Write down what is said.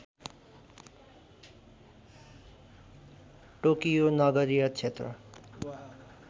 Tokyo नगरीय क्षेत्र